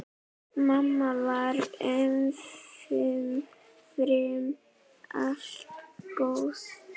Mamma var umfram allt góð.